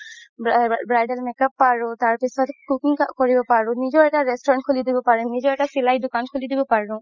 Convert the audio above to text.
bridal makeup পৰো তাৰ পিছত cooking কৰিব পাৰো নিজৰ এটা restaurant খুলি দিব পাৰিম নিজৰ এটা চিলাই দুকান খুলি দিব পাৰো